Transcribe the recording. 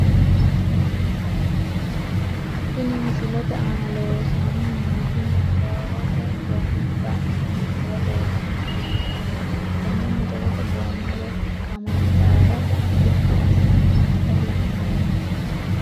Tini misilete aana loosani nooti motoorete goomi baeena titire loosani nooha ikanna tene motorrete gooma woyi kamandaara bidi asani noota la`neemo.